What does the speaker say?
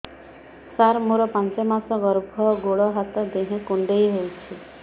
ସାର ମୋର ପାଞ୍ଚ ମାସ ଗର୍ଭ ଗୋଡ ହାତ ଦେହ କୁଣ୍ଡେଇ ହେଉଛି